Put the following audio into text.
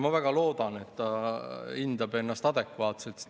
Ma väga loodan, et ta hindab ennast adekvaatselt.